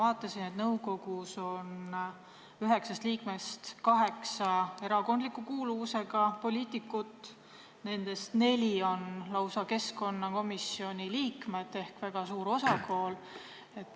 Ma vaatasin, et nõukogu üheksast liikmest kaheksa on erakondliku kuuluvusega poliitikud ja nendest lausa neli on keskkonnakomisjoni liikmed, mis on väga suur osakaal.